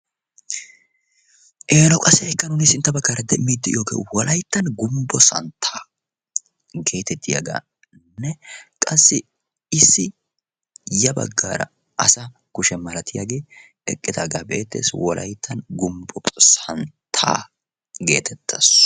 eeno qassi ha'i nnun sintta baggaara demmid de'iyooge Wolaytta gumbbo santta getettiyaaganne qassi issi ya baggaara asaa kushe malatiyaagee eqidaaga be'ettees. wolayttan gumbo santta getettees.